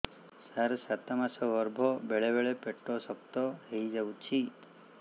ମୋର ସାତ ମାସ ଗର୍ଭ ବେଳେ ବେଳେ ପେଟ ଶକ୍ତ ହେଇଯାଉଛି